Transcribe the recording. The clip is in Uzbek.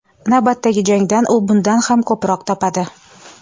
Navbatdagi jangdan u bundan ham ko‘proq topadi.